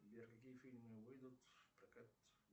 сбер какие фильмы выйдут в прокат